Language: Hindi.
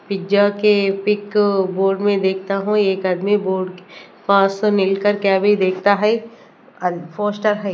पिज्जा के पिक बोर्ड मे देखता हूं एक आदमी बोर्ड पार्सल मिल कर गया भी देखता है आ है।